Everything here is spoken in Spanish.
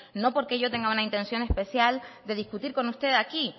no porque yo tenga una intención especial de discutir con usted aquí